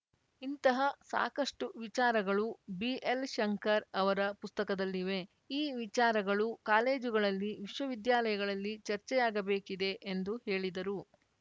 ಇಂತಹ ಸಾಕಷ್ಟುವಿಚಾರಗಳು ಬಿಎಲ್‌ಶಂಕರ್‌ ಅವರ ಪುಸ್ತಕದಲ್ಲಿವೆ ಈ ವಿಚಾರಗಳು ಕಾಲೇಜುಗಳಲ್ಲಿ ವಿಶ್ವವಿದ್ಯಾಲಯಗಳಲ್ಲಿ ಚರ್ಚೆಯಾಗಬೇಕಿದೆ ಎಂದು ಹೇಳಿದರು